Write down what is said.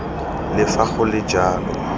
le fa go le jalo